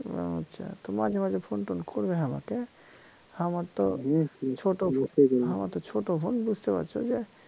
ও আচ্ছা তো মাঝে মাঝে phone টোন কইর হামাকে হামার তো ছোট হামার তো ছোট phone বুঝতে পারছ যে